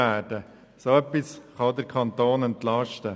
Dadurch kann der Kanton auch entlastet werden.